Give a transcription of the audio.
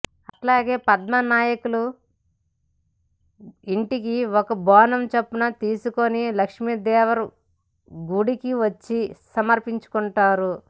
అట్లాగే పద్మ నాయకులు ఇంటికి ఒక బోనం చొప్పున తీసుకొని లక్ష్మీదేవర గుడికి వచ్చి సమర్పించుకుంటారు